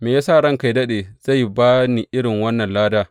Me ya sa ranka yă daɗe zai ba ni irin wannan lada.